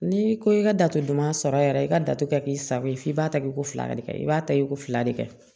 N'i ko i ka datugu duman sɔrɔ yɛrɛ i ka datɛ sago ye f'i b'a ta i ko fila de kɛ i b'a ta i k'o fila de kɛ